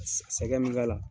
Sɛgɛ min k'ala